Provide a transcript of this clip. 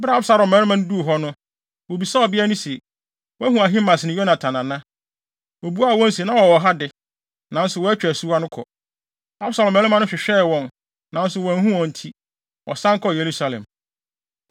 Bere a Absalom mmarima no duu hɔ no, wobisaa ɔbea no se, “Woahu Ahimaas ne Yonatan ana?” Obuaa wɔn se, “Na wɔwɔ ha de, nanso wɔatwa asuwa no kɔ.” Absalom mmarima no hwehwɛɛ wɔn, nanso wɔanhu wɔn nti, wɔsan kɔɔ Yerusalem.